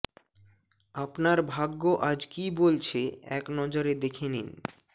আপনার ভাগ্য আজ কি বলছে এক নজরে দেখে নিন